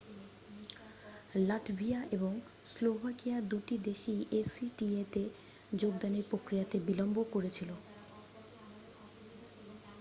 Latvia এবং Slovakia দুটি দেশই acta-তে যোগদানের প্রক্রিয়াতে বিলম্ব করেছিল।